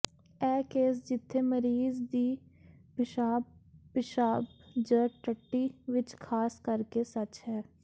ਇਹ ਕੇਸ ਜਿੱਥੇ ਮਰੀਜ਼ ਦੀ ਪਿਸ਼ਾਬ ਿਪਸ਼ਾਬ ਜ ਟੱਟੀ ਵਿੱਚ ਖਾਸ ਕਰਕੇ ਸੱਚ ਹੈ